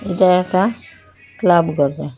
এটা একটা ক্লাব ঘর দেখায়।